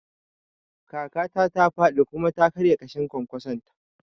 Kakata ta faɗi kuma ta karya ƙashin kwankwason ta